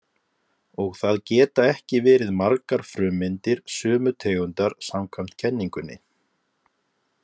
Og það geta ekki verið margar frummyndir sömu tegundar samkvæmt kenningunni.